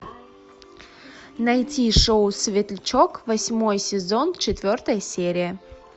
найти шоу светлячок восьмой сезон четвертая серия